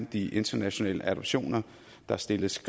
de internationale adoptioner der stilles